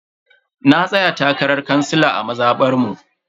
Na tsaya takarar kansila a mazabar mu.